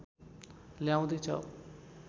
ल्याउँदै छ